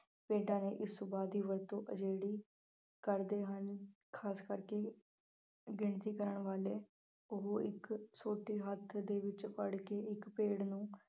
ਭੇਡਾਂ ਦੇ ਇਸ ਸੁਭਾਅ ਦੀ ਵਰਤੋਂ ਆਜੜੀ ਕਰਦੇ ਹਨ। ਖਾਸ ਕਰਕੇ ਗਿਣਤੀ ਕਰਾਉਣ ਵਾਲੇ ਉਹ ਇੱਕ ਸੋਟੀ ਹੱਥ ਦੇ ਵਿੱਚ ਫੜ੍ਹ ਕੇ ਇੱਕ ਭੇਡ ਨੂੰ